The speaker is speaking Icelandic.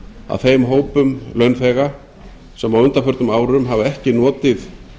að þeim hópum launþega sem á undanförnum árum hafa ekki notið